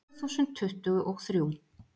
Tvö þúsund tuttugu og þrjú